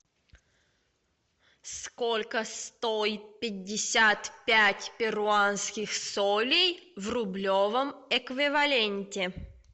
сколько стоит пятьдесят пять перуанских солей в рублевом эквиваленте